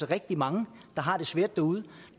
rigtig mange der har det svært derude